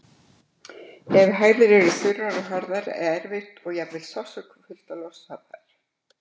Ef hægðir eru þurrar og harðar er erfitt og jafnvel sársaukafullt að losa þær.